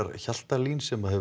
Hjaltalín sem hefur